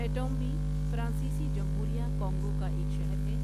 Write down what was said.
ایٹؤمبی فرانسیسی جمہوریہ کانگو کا ایک شہر ہے